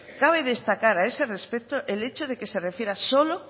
cabe destacar a ese respecto el hecho de que se refiera solo